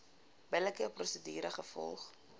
billike prosedure gevolg